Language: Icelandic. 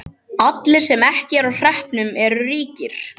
Allir sem ekki eru á hreppnum eru ríkir.